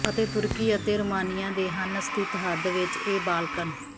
ਅਤੇ ਤੁਰਕੀ ਅਤੇ ਰੋਮਾਨੀਆ ਦੇ ਹਨ ਸਥਿਤ ਹੱਦ ਵਿਚ ਇਹ ਬਾਲਕਨ